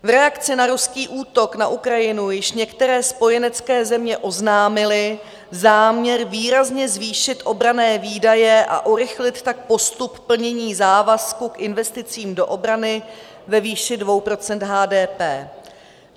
V reakci na ruský útok na Ukrajinu již některé spojenecké země oznámily záměr výrazně zvýšit obranné výdaje a urychlit tak postup plnění závazku k investicím do obrany ve výši 2 % HDP.